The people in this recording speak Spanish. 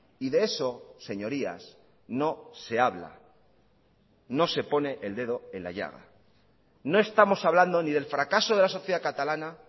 y de eso señorías no se habla no se pone el dedo en la llaga no estamos hablando ni del fracaso de la sociedad catalana